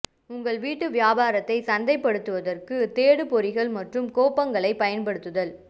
உங்கள் வீட்டு வியாபாரத்தை சந்தைப்படுத்துவதற்கு தேடு பொறிகள் மற்றும் கோப்பகங்களைப் பயன்படுத்துதல்